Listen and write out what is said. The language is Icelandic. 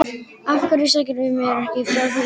Af hverju sagðirðu mér ekki frá því í gær?